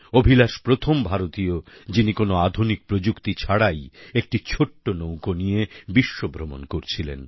অভিলাষ প্রথম ভারতীয় যিনি কোনো আধুনিক প্রযুক্তি ছাড়াই একটি ছোট্ট নৌকো নিয়ে বিশ্বভ্রমণ করছিলেন